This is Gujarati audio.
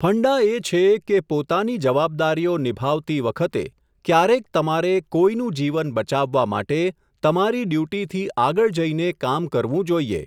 ફંડા એ છે કે, પોતાની જવાબદારીઓ નિભાવતી વખતે, ક્યારેક તમારે કોઈનું જીવન બચાવવા માટે, તમારી ડ્યૂટીથી આગળ જઈને કામ કરવું જોઈએ.